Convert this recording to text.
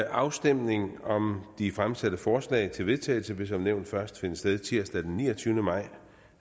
afstemning om de fremsatte forslag til vedtagelse vil som nævnt først finde sted tirsdag den niogtyvende maj